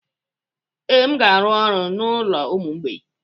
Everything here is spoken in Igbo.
Ee, m ga-arụ ọrụ n'ụlọ ụmụ mgbei.